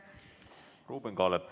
Ruuben Kaalep.